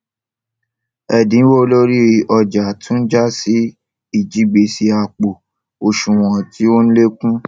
èdínwó lórí ọjà tún jásí ìjigbèsè àpò òṣùwòn tó n lékún